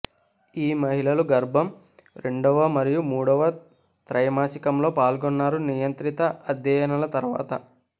ఈ మహిళలు గర్భం రెండవ మరియు మూడవ త్రైమాసికంలో పాల్గొన్నారు నియంత్రిత అధ్యయనాల తర్వాత